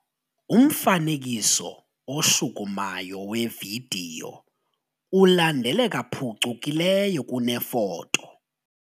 Umfanekiso oshukumayo wevidiyo ulandeleka phucukileyo kunefoto.